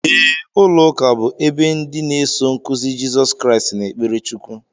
Ee, ụlọuka bú ebe ndị na eso nkụzi Jesọs Christ n'ekpere Chukwu